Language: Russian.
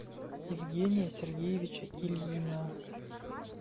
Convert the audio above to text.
евгения сергеевича ильина